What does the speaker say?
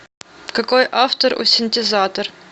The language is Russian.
какой автор у синтезатор